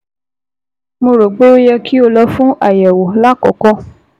Mo rò pé ó yẹ kí o lọ fún àyẹ̀wò lákọ̀ọ́kọ́